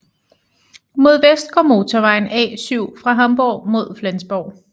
Mod vest går motorvejen A7 fra Hamborg mod Flensborg